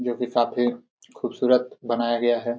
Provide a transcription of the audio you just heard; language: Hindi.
जो कि काफी खूबसूरत बनाया गया है।